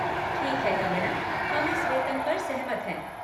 ठीक है, कंगना, हम इस वेतन पर सहमत हैं।